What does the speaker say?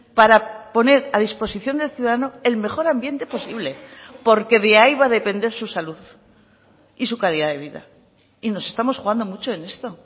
para poner a disposición del ciudadano el mejor ambiente posible porque de ahí va a depender su salud y su calidad de vida y nos estamos jugando mucho en esto